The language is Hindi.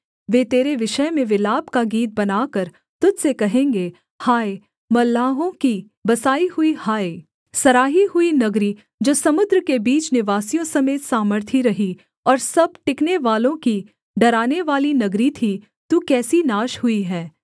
वे तेरे विषय में विलाप का गीत बनाकर तुझ से कहेंगे हाय मल्लाहों की बसाई हुई हाय सराही हुई नगरी जो समुद्र के बीच निवासियों समेत सामर्थी रही और सब टिकनेवालों की डरानेवाली नगरी थी तू कैसी नाश हुई है